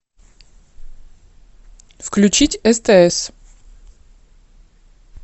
включить стс